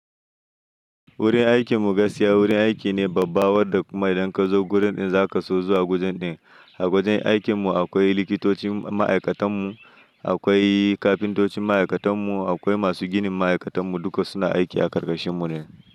Wurin aikin mu gaskiya wurin aiki ne babba wadda kuma idan ka zo wurin ɗin zaka so zuwa kowane lokaci. A wajen aikin mu akwai likitocin ma'aikatan mu, akwai kafintocin ma'aikatan mu, akwai masu ginin ma'aikatan mu duka suna aiki a ƙarƙashin mu ne.